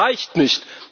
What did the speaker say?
Aber das reicht nicht.